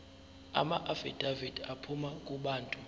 amaafidavithi aphuma kubantu